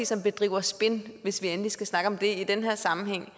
som bedriver spin hvis vi endelig skal snakke om det i den her sammenhæng